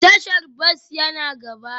Tashar bas yana gaba